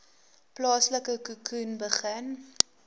plaaslike khoekhoen begin